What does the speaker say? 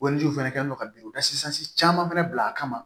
fɛnɛ kɛlen do ka bin da caman fɛnɛ bila a kama